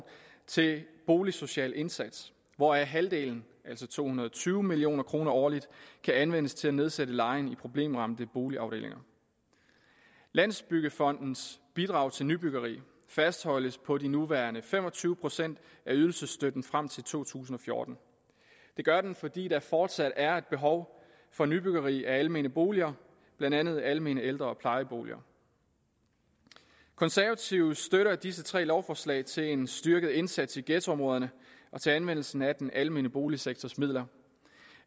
til boligsocial indsats hvoraf halvdelen altså to hundrede og tyve million kroner årligt kan anvendes til at nedsætte lejen i problemramte boligafdelinger landsbyggefondens bidrag til nybyggeri fastholdes på de nuværende fem og tyve procent af ydelsesstøtten frem til to tusind og fjorten det gør den fordi der fortsat er et behov for nybyggeri af almene boliger blandt andet almene ældre og plejeboliger konservative støtter disse tre lovforslag til en styrket indsats i ghettoområderne og til anvendelsen af den almene boligsektors midler